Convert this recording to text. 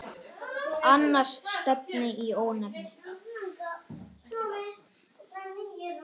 Annars stefni í óefni.